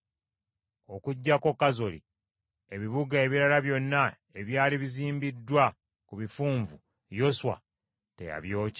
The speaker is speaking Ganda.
Okuggyako Kazoli, ebibuga ebirala byonna ebyali bizimbiddwa ku bifunvu, Yoswa teyabyokya.